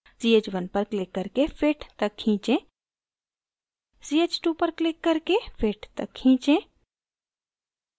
ch1 पर click करके fit तक खींचें ch2 पर click करके fit तक खींचें